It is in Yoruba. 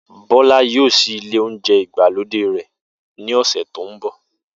Bó̩lá yóò s̩í ilé́ oúnjé̩ ìgbàlódé rè̩ ní ò̩sè̩ tó ń bò̩